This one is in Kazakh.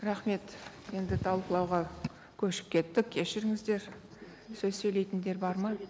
рахмет енді талқылауға көшіп кеттік кешіріңіздер сөз сөйлейтіндер бар ма